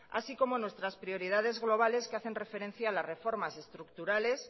así como nuestras prioridades globales que hacen referencia a las reformas estructurales